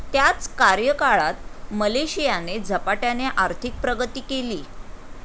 त्याच कार्यकाळात मलेशियाने झपाट्याने आर्थिक प्रगती केली.